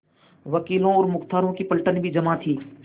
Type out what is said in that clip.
वकीलों और मुख्तारों की पलटन भी जमा थी